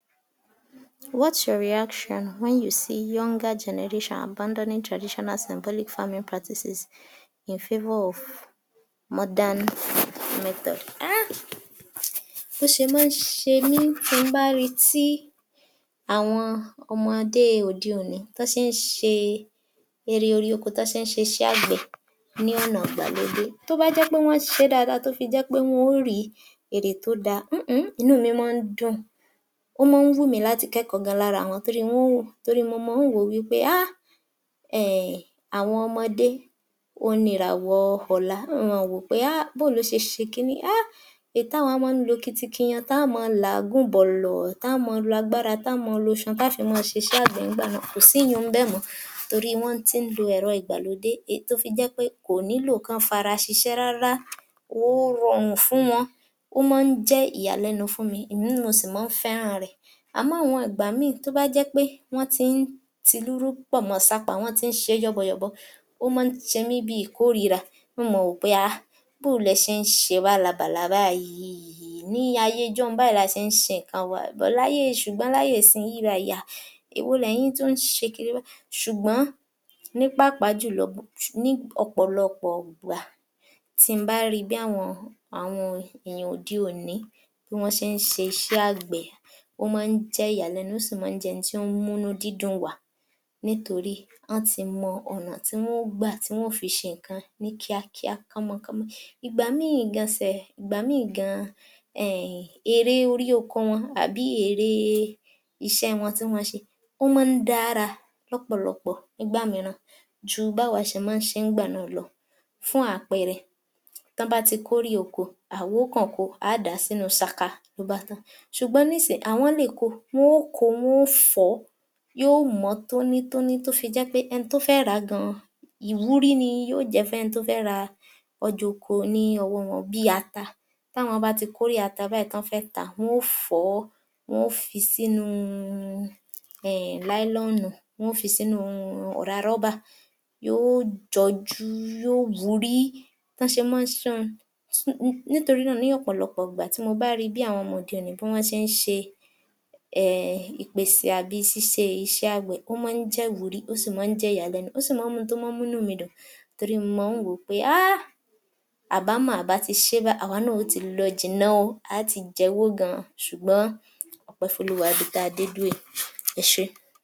yor_f_903_AG00602 What’s your reaction when you see younger generations abandoning traditional symbolic practices in favour of modern method? Ah! Bó ó ṣe máa ń ṣe mí tí ń bá rí tí àwọn ọmọdé òde òní tó ṣe ń ṣe ère orí ọkọ, tó ṣe ń ṣe iṣẹ́ àgbẹ̀ ni ọ̀nà ìgbàlódé, tó bá jẹ́ pé wọn ṣe é dáadáa tó fi jẹ pé wọn ó rí ère tó dá (…..), inú míì máa ń dùn, ó máa wù mí láti kẹ́kọ̀ọ́ gan-an lára wọn torí wọn mọ máa wò ó wí pé Ahhhh‼‼ àwọn ọmọdé, ohun ni ìràwọ̀ ọ̀la, wọn o máa wò ó pé bó o lọ ṣe ṣé kí ni yìí? Èyí táwa ó máa lọ kitikiyan, tá a máa láàgùn bọ̀lọ̀, tá máa lọ agbára, tá a máa lọ isan láti ṣe iṣẹ́ àgbẹ̀, kò sí ìyẹn nbẹ mọ́ torí wọ́n ti ń lọ ẹ̀rọ ìgbàlódé tó fi jẹ pé kò nílò kọ́ fara ṣíṣe rárá, ó rọrùn fún wọn, ó máa jẹ ìyàlẹ́nu fún mi, èmi náà sì máa ń fẹ́ràn rẹ̀, àmọ́ àwọn ìgbà míì, tó bá jẹ́ pé wọn tí tí lúlú pọ̀ mọ sapá, wọn tí ń ṣe yọ́bọyọ̀bọ, ó máa máa ṣe mí bíi ìkórìíra, wọn máa wò ó pé ahhhhh bò ó lẹ ṣe ń ṣe Bálabàla báyìí, ní ayé ìjọùn-ún báyìí la ṣe ń ṣe nǹkan wa. Ṣùgbọ́n láyé nísinsìnyí báyìí, ahhh! Èwo lẹ́yìn tún ṣe Kírì yìí, ṣùgbọ́n ni pàápàá jùlọ ni ọ̀pọ̀lọpọ̀ ìgbà tí ń bá rí bí àwọn ènìyàn òde òní, bí wọn ṣe ń ṣe iṣẹ́ àgbẹ̀, ó máa jẹ́ ìyàlẹ́nu, ó sì máa jẹ́ ohun tí ó mú inú dídùn wá, nítorí wọ́n ti mọ ọ̀nà tí wọn yóò gbà ti wọn yóò fi ṣe nǹkan ni kíákíá, ní kọ́mọ́kọ́mọ́. Ìgbà míì gan-an, ère orí oko wọn àbí ère ìṣe wọn tí wọn ṣe, ó máa dára lọ̀pọ̀lọpọ̀ nígbà mìíràn ju báwa ṣe máa ń ṣe nígbà náà lọ. Fún àpẹẹrẹ, tó bá ti kórè oko, àwọn ó kò ko, a dáa sínú ṣaka, ló bá tán, ṣùgbọ́n nísìyìí, àwọn lè kó, wọn ò ko, wọn ò fọ ó, yóò mọ tónítóní, tó fi jẹ pé ẹni tó fẹ́ rà á gan-an, ìwúrí ni yóò jẹ́ fún ẹni tó fẹ́ ra ọjà ọkọ ni ọwọ́ wọn bíi ata, táwọn bá ti kórè ata báyìí, tó fẹ́ tá a, wọn ó fọ̀ ó, wọn ò fi sínú Nylon, wọn yóò fi sínú ọ̀rá rubber, yóò jọjú, yóò wúrí, nítorí náà ni ọ̀pọ̀lọpọ̀ ìgbà tí mo bá rí bí àwọn ọmọ òde òní ṣe ń ṣe ìpèsè tàbí ṣíṣe iṣẹ́ àgbẹ̀, ó máa jẹ́ ìwúrí, ó sii máa ń jẹ ìyàlẹ́nu,ó sì máa mú inú mi dùn torí mo máa wò pé ahhhh! Àbá mọ̀ a bá ti ṣe báyìí, àwọn náà o ti lọ jìnnà ó, a ti jẹ́ owó gan-an ṣùgbọ́n ọpẹ́ f’olúwa níbi ta de dúró yìí, ẹsé.